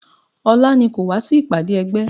Ọlá ni kò wá sí ìpàdé ẹgbẹ́